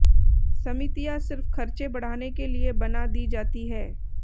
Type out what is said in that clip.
समितियां सिर्फ खर्चे बढ़ाने के लिए बना दी जाती है